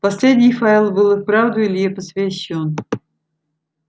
последний файл был и вправду илье посвящён